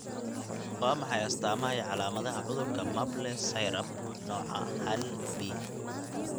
Waa maxay astamaha iyo calaamadaha cudurka Maple syrup nooca hal B?